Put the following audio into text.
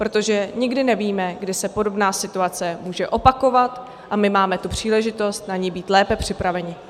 Protože nikdy nevíme, kdy se podobná situace může opakovat, a my máme tu příležitost na ni být lépe připraveni.